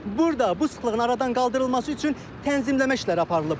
Burda bu sıxlığın aradan qaldırılması üçün tənzimləmə işləri aparılıb.